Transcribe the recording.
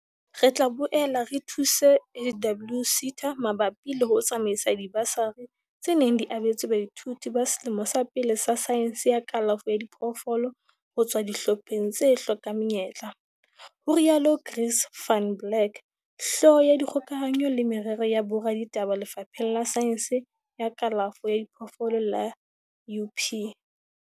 "Re tla boela re thuse HWSETA mabapi le ho tsamaisa dibasari, tse neng di abetswe baithuti ba selemo sa pele sa saense ya kalafo ya diphoofolo ho tswa dihlopheng tse hlokang menyetla," ho rialo Chris van Blerk, Hlooho ya Dikgokahanyo le Merero ya Boraditaba Lefapheng la Saense ya Kalafo ya Diphoofolo la UP.